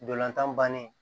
Ntolan tan bannen